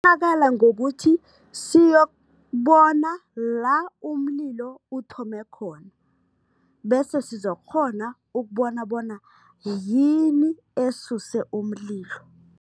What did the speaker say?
ngokuthi siyokubona la umlilo uthome khona bese sizokukghona ukubona bona yini esuse umlilo.